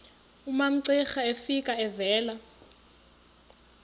umamcira efika evela